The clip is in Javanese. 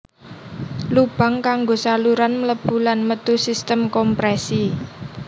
Lubang kanggo saluran mlebu lan metu sistem komprèsi